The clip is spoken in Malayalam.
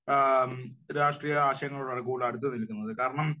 രാഷ്ട്രീയ ആശയങ്ങളോടാണ് കൂടുതൽ അടുത്ത് നില്ക്കുന്നത്. കാരണം,